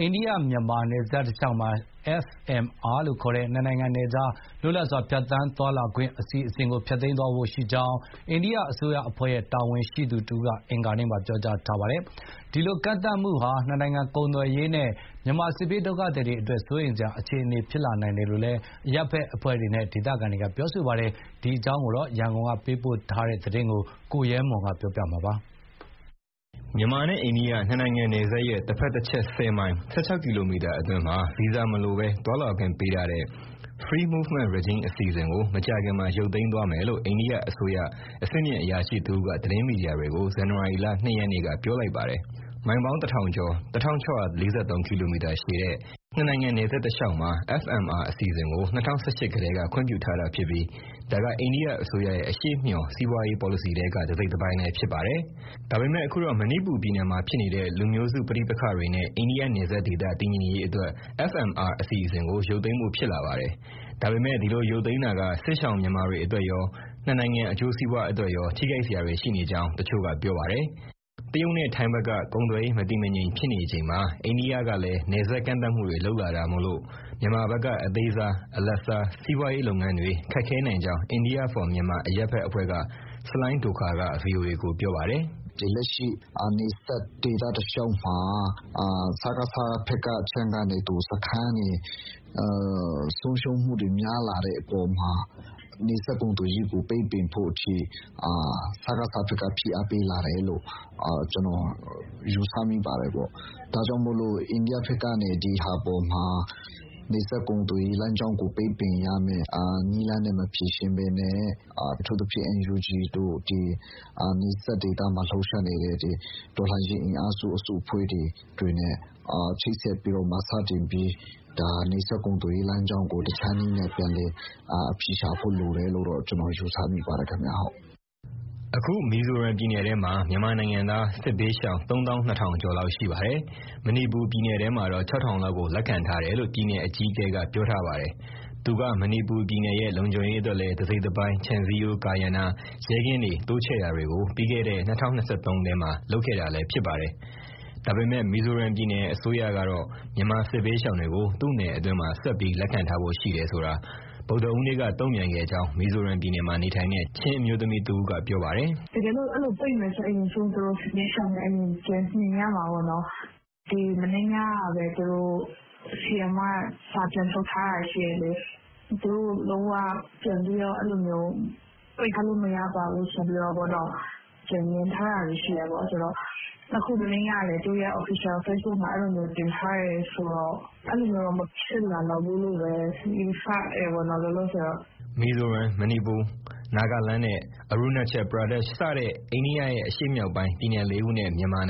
အိန္ဒိယ-မြန်မာ နယ်စပ်တလျှောက် FMR လို့ခေါ်တဲ့ နှစ်နိုင်ငံနယ်ခြား လွတ်လပ်စွာ ဖြတ်သန်းသွားလာခွင့် အစီအစဉ်ကို ဖျက်သိမ်းသွားဖို့ရှိကြောင်း အိန္ဒိယအစိုးရအဖွဲ့ရဲ့ တာဝန်ရှိသူတဦးက အင်္ဂါနေ့က ပြောကြားထားပါတယ်။ ဒီလို ကန့်သတ်မှုဟာ နှစ်နိုင်ငံကုန်သွယ်ရေးနဲ့ မြန်မာစစ်ရှောင်တွေအတွက် စိုးရိမ်စရာဖြစ်လာနိုင်တယ်လို့ အရပ်ဘက်အဖွဲ့တွေနဲ့ ဒေသခံတွေက ပြောပါတယ်။ ဒီအကြောင်း ရန်ကုန်က သတင်းပေးပို့ထားတာကို ကိုရဲမွန်က တင်ပြပေးထားပါတယ်။ မြန်မာနဲ့ အိန္ဒိယ နှစ်နိုင်ငံနယ်စပ်ရဲ့ တဘက်တချက် ၁၀ မိုင် (၁၆ ကီလိုမီတာ) အတွင်းမှာ ဗီဇာမလိုဘဲ သွားလာခွင့်ပေးထားတဲ့ Free Movement Regime (FMR) အစီအစဉ်ကို မကြာခင်မှာ ရုပ်သိမ်းသွားမယ်လို့ အိန္ဒိယအစိုးရ အဆင့်မြင့်အရာရှိတဦးက သတင်းမီဒီယာတွေကို ဇန်နဝါရီလ ၂ ရက်က ပြောလိုက်ပါတယ်။ မိုင်ပေါင်း ၁,၀၀၀ ကျော် (၁,၆၄၃ ကီလိုမီတာ) ရှည်တဲ့ နှစ်နိုင်ငံနယ်စပ်တလျှောက်မှာ FMR အစီအစဉ်ကို ၂၀၁၈ ကတည်းက ခွင့်ပြုထားခဲ့ပြီး ဒါက အိန္ဒိယအစိုးရရဲ့ အရှေ့မျှော် စီးပွားရေးပေါ်လစီထဲက တစိတ်တပိုင်းလည်း ဖြစ်ပါတယ်။ ဒါပေမဲ့ အခုတော့ မဏိပူပြည်နယ်မှာ ဖြစ်နေတဲ့ လူမျိုးစုပဋိပက္ခတွေနဲ့ အိန္ဒိယနယ်စပ်ဒေသ တည်ငြိမ်ရေးအတွက် FMR အစီအစဉ်ကို ရုပ်သိမ်းဖို့ ဖြစ်လာပါတယ်။ ဒါပေမဲ့ ဒီလိုရုပ်သိမ်းတာက စစ်ရှောင်မြန်မာတွေအတွက်ရော နှစ်နိုင်ငံ အကျိုးစီးပွားအတွက်ရော ထိခိုက်စရာတွေ ရှိနေကြောင်း တချို့က ပြောပါတယ်။ တရုတ်နဲ့ထိုင်းဘက်က ကုန်သွယ်ရေးမတည်မငြိမ် ဖြစ်နေချိန်မှာ အိန္ဒိယကလည်း နယ်စပ်မှာ ကန့်သတ်ချက်တွေလုပ်လာတာမို့ မြန်မာဘက်က အသေးစား၊ အလတ်စား စီးပွားရေးလုပ်ငန်းတွေ ခက်ခဲနိုင်ကြောင်း India for Myanmar အရပ်ဘက်အဖွဲ့က ဆလိုင်းဒိုခါရ်က ဗွီအိုအေကို ပြောပါတယ်။ "လက်ရှိ နယ်စပ်ဒေသတလျှောက်မှာ စကစဘက်က စခန်းတွေ ဆုံးရှုံးမှုများလာတဲ့အပေါ်မှာ နယ်စပ်ကုန်သွယ်ရေးကိုပိတ်ပင်ဖို့အထိ စကစဘက်က ဖိအားပေးလာတယ်လို့ ကျနော် ယူဆမိပါတယ်။ ဒါကြောင့် အိန္ဒိယက ဒီဟာအပေါ်မှာ နယ်စပ်ကုန်သွယ်ရေးကို ပိတ်ပင်ရမဲ့နည်းလမ်းနဲ့မဖြေရှင်းဘဲ အထူးသဖြင့် NUG တို့ နယ်စပ်ဒေသမှာ လှုပ်ရှားနေတဲ့ တော်လှန်ရေးအင်အားစု အစုအဖွဲ့တွေနဲ့ ချိတ်ဆက်ပြီး စတင်ပြီး နယ်စပ်ကုန်သွယ်ရေး လမ်းကြောင်းကို တခြားနည်းလမ်းနဲ့ ပြန်လည် အဖြေရှာဖို့လိုတယ်လို့ ကျနော် ယူဆမိပါတယ်။" အခု မီဇိုရမ်ပြည်နယ်ထဲမှာ မြန်မာနိုင်ငံသား စစ်ဘေးရှောင် ၃၂,၀၀၀ ကျော်လောက်ရှိပါတယ်။ မဏိပူရ်ပြည်နယ်ထဲမှာတော့ ၆,၀၀၀ လောက်ကို လက်ခံထားတယ်လို့ ပြည်နယ် အကြီးအကဲက ပြောထားပါတယ်။ သူက မဏိပူရ်ပြည်နယ်ရဲ့ လုံခြုံရေးအတွက်လည်း တစိတ်တပိုင်း ခြံစည်းရိုးကာရံတာ၊ ရဲကင်းတွေ တိုးချဲ့တာတွေကို ပြီးခဲ့တဲ့ ၂၀၂၃ ထဲမှာ လုပ်ခဲ့တာလည်း ဖြစ်ပါတယ်။ ဒါပေမဲ့ မီဇိုရမ်ပြည်နယ် အစိုးရကတော့ မြန်မာစစ်ဘေးရှောင်တွေကို သူ့နယ်အတွင်းမှာ ဆက်ပြီးလက်ခံထားဖို့ ရှိတယ်ဆိုတာ မနေ့က ဗုဒ္ဓဟူးနေ့က တုံ့ပြန်ခဲ့ကြောင်း မီဇိုရမ်ပြည်နယ်မှာ နေထိုင်တဲ့ ချင်းအမျိုးသမီးတဦးက ပြောပါတယ်။ "တကယ်လို့ သူတို့အဲလိုပိတ်မယ်ဆိုရင် စစ်ဘေးရှောင်တွေကို အရင်ပြန်နှင်ရမှာပေါ့နော်၊ မနေ့ညကပဲသူတို့ CM က (မီဇိုရမ်ပြည်နယ် အကြီးအကဲက) စာပြန်ထုတ်ထားတာ ရှိတယ်လေ၊ သူတို့လုံးဝ အဲလိုမျိုး ပိတ်ထားလို့ မရပါဘူးဆိုပြီးတော့နော ပြန်ငြင်းထားတာတွေ ရှိတယ်။ နှစ်ခု သူတို့ရဲ့ official ဖေ့စ်ဘွတ်မှာ အဲလိုတင်ထားတယ်ဆိုတော့ အဲလိုမဖြစ်လာလောက်ဘူးလို့ပဲ ယူဆတယ်ပေါ့ လောလောဆယ်တော့။" Mizoram, Manipur, Nagaland နဲ့ Arunachal Pradesh စတဲ့ အိန္ဒိယရဲ့ အရှေ့မြောက်ပိုင်း ပြည်နယ်လေးခုနဲ့ မြန်မာက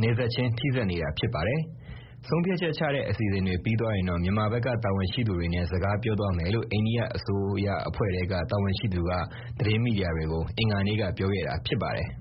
နယ်စပ်ချင်း ထိစပ်နေတာ ဖြစ်ပါတယ်။ ဆုံးဖြတ်ချက်ချတဲ့ အစီအစဉ်တွေ ပြီးသွားရင်တော့ မြန်မာဘက်က တာဝန်ရှိသူတွေနဲ့ စကားပြောသွားမယ်လို့ အိန္ဒိယအစိုးရအဖွဲ့ထဲက တာဝန်ရှိသူက သတင်းမီဒီယာတွေကို အင်္ဂါနေ့က ပြောခဲ့တာ ဖြစ်ပါတယ်။